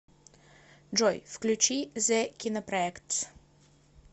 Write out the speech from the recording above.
джой включи зе кинопроэктс